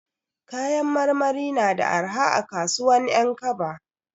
Kayan marmari na da arha a kasuwan 'Yankaba.